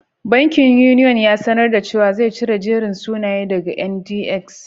Bankin Union ya sanar da cewa zai cire jerin sunayen daga NGX.